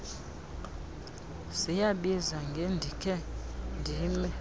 ziyabiza ngendikhe ndime